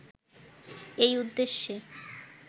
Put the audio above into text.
এই উদ্দেশ্যে